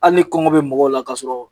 Hali ni kɔngɔ be mɔgɔw la ka sɔrɔ